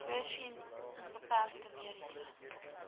voorsien onbeperkte mediese